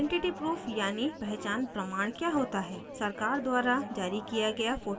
identity proof यानि पहचान प्रमाण क्या होता है सरकार द्वारा जारी किया गया photo के साथ